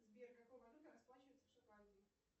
сбер какой валютой расплачиваются в шотландии